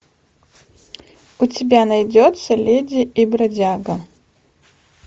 у тебя найдется леди и бродяга